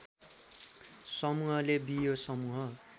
समूहले बियो समूह